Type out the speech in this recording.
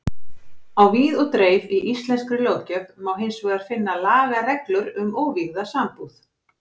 Á víð og dreif í íslenskri löggjöf má hins vegar finna lagareglur um óvígða sambúð.